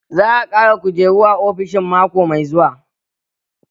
Za a ƙara kujeru a ofishin mako mai zuwa